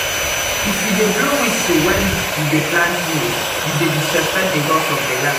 if you dey blow whistle when you dey plant maize you dey disrespect the gods of the land.